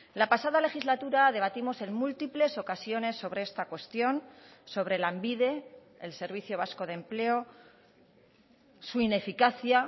la pasada legislatura debatimos en múltiples ocasiones sobre esta cuestión sobre lanbide el servicio vasco de empleo su ineficacia